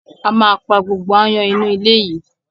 A ma pa gbogbo áyán inú ilé yìí.